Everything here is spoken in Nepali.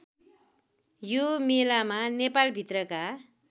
यो मेलामा नेपालभित्रका